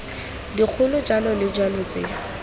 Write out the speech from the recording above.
dikgolo jalo le jalo tse